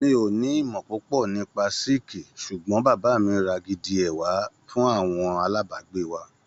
Mi ò ní ìmọ̀ púpò nípa síkìì sùgbón bàbá mi ra gidi ẹ fún àwọn alábàgbé wa.